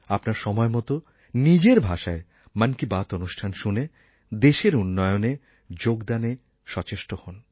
আপনার সময় মত নিজের ভাষায় মন কি বাত অনুষ্ঠান শুনে দেশের উন্নয়নে যোগদানে সচেষ্ট হন